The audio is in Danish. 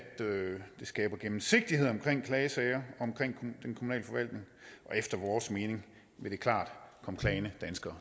det skaber gennemsigtighed om klagesager om og efter vores mening vil det klart komme klagende danskere